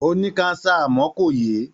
Ó ní káńsà àmọ́ kò yè é.